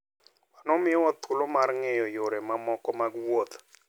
Mano miyowa thuolo mar ng'eyo yore mamoko mag wuoth.